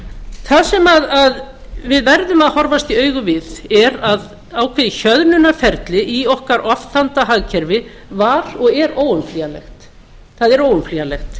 það sem við verðum að horfast í augu við er að ákveðið hjöðnunarferli í okkar ofþanda hagkerfi var og er óumflýjanlegt það er óumflýjanlegt